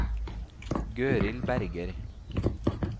Gøril Berger